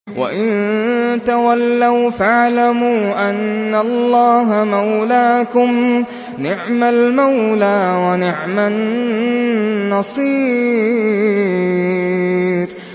وَإِن تَوَلَّوْا فَاعْلَمُوا أَنَّ اللَّهَ مَوْلَاكُمْ ۚ نِعْمَ الْمَوْلَىٰ وَنِعْمَ النَّصِيرُ